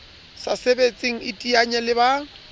sa sebetseng iteanye le ba